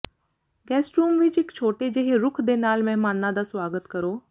guest room ਵਿਚ ਇਕ ਛੋਟੇ ਜਿਹੇ ਰੁੱਖ ਦੇ ਨਾਲ ਮਹਿਮਾਨਾਂ ਦਾ ਸੁਆਗਤ ਕਰੋ